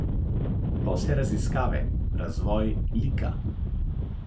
Pa vse raziskave, razvoj lika.